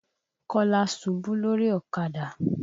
Kọ́lá ṣubú lórí ọ̀kadà.